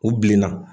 U bilenna